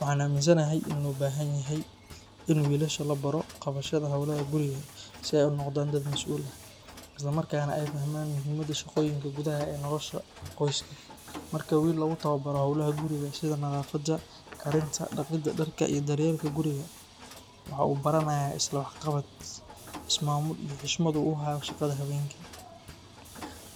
Waxaan aaminsanahay in loo baahan yahay in wiilasha la baro qabashada howlaha guriga si ay u noqdaan dad mas’uul ah, isla markaana ay fahmaan muhiimada shaqooyinka gudaha ee nolosha qoyska. Marka wiil lagu tababaro howlaha guriga sida nadaafadda, karinta, dhaqidda dharka iyo daryeelka guriga, waxa uu baranayaa isla-waxqabad, is-maamul iyo xushmad uu u hayo shaqada haweenka.